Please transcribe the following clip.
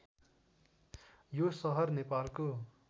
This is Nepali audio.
यो सहर नेपालको